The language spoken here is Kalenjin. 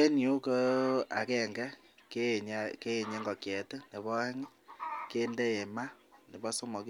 En yu ko agenge keyeny ngokiet, nebo oeng kindo maa, nebo somok